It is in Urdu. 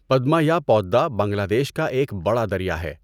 پدما یا پودّا بنگلہ دیش کا ایک بڑا دریا ہے۔